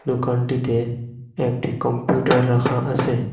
দোকানটিতে একটি কম্পিউটার রাখা আসে।